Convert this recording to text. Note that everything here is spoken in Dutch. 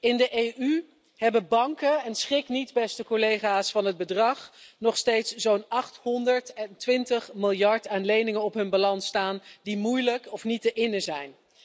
In de EU hebben banken schrik niet, beste collega's, van het bedrag nog steeds zo'n 820 miljard aan leningen op hun balans staan die moeilijk of niet te innen zijn.